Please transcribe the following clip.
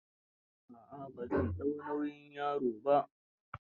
A'a, ba zan dau nauyi yaron ba.